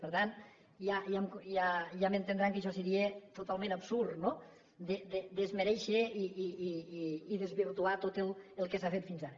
per tant ja m’entendran que això seria totalment absurd no desmerèixer i desvirtuar tot el que s’ha fet fins ara